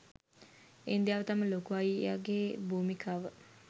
ඉන්දියාව තම ලොකු අයියාගේ භූමිකාව